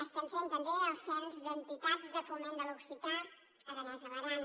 estem fent també el cens d’entitats de foment de l’occità aranès a l’aran